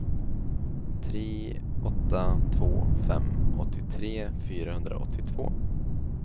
tre åtta två fem åttiotre fyrahundraåttiotvå